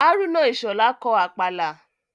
Hárúnà Ìṣhọ̀lá kọ Àpàlà